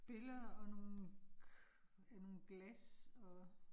Billeder og nogle, ja nogle glas og